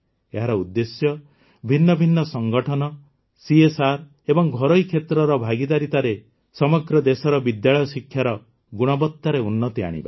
ଏହାର ଉଦ୍ଦେଶ୍ୟ ଭିନ୍ନ ଭିନ୍ନ ସଂଗଠନ ସିଏସ୍ଆର୍ ଏବଂ ଘରୋଇ କ୍ଷେତ୍ରର ଭାଗିଦାରୀତାରେ ସମଗ୍ର ଦେଶର ବିଦ୍ୟାଳୟ ଶିକ୍ଷାର ଗୁଣବତାରେ ଉନ୍ନତି ଆଣିବା